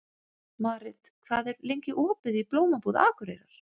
Marit, hvað er lengi opið í Blómabúð Akureyrar?